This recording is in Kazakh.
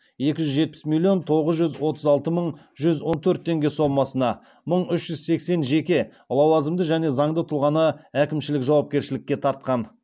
екі жүз жетпіс миллион тоғыз жүз отыз алты мың жүз он төрт теңге сомасына мың үш жүз сексен жеке лауазымды және заңды тұлғаны әкімшілік жауапкершілікке тартқан